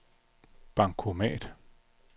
bankomat